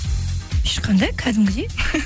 ешқандай кәдімгідей